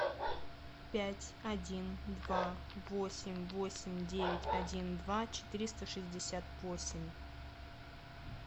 пять один два восемь восемь девять один два четыреста шестьдесят восемь